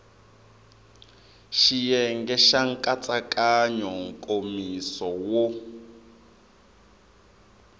xiyenge xa nkatsakanyo nkomiso wo